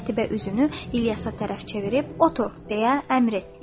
Qətibə üzünü İlyasa tərəf çevirib: “Otur” – deyə əmr etdi.